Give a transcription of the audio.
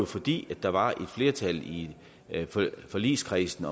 fordi der var et flertal i forligskredsen